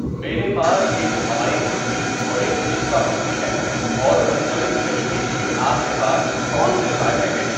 میرے پاس ایک ملائی قلفی اور ایک پِستہ قلفی ہے اور منجمد دہی کے لیے آپ کے پاس کون سے ذائقے ہیں؟